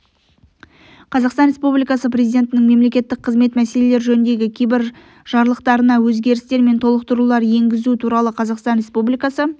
қазақстан республикасы президентінің мемлекеттік қызмет мәселелер жөніндегі кейбір жарлықтарына өзгерістер мен толықтырулар енгізу туралы қазақстан республикасы